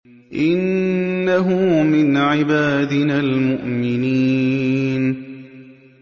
إِنَّهُ مِنْ عِبَادِنَا الْمُؤْمِنِينَ